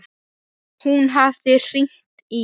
Hún hafði hringt í